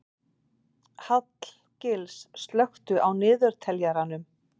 Hallgils, slökktu á niðurteljaranum.